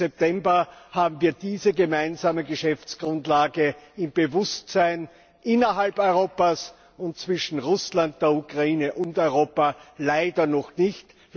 12. September, haben wir diese gemeinsame Geschäftsgrundlage im Bewusstsein innerhalb Europas und zwischen Russland, der Ukraine und Europa leider noch nicht.